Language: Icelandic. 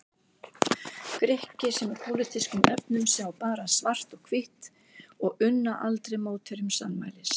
Grikki sem í pólitískum efnum sjá bara svart og hvítt og unna aldrei mótherjum sannmælis.